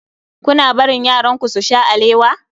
Kuna barin yaranku su sha alewa?